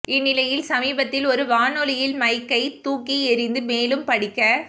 இந்நிலையில் சமீபத்தில் ஒரு வானொலியில் மைக்கை தூக்கி எறிந்து மேலும் படிக்க